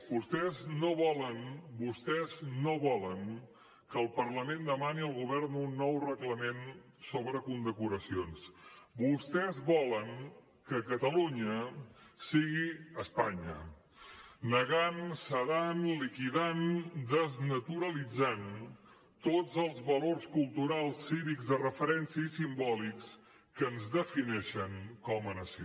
vostès no volen vostès no volen que el parlament demani al govern un nou reglament sobre condecoracions vostès volen que catalunya sigui espanya negant sedant liquidant desnaturalitzant tots els valors culturals cívics de referència i simbòlics que ens defineixen com a nació